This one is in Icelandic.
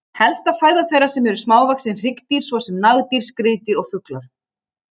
Helsta fæða þeirra eru smávaxin hryggdýr svo sem nagdýr, skriðdýr og fuglar.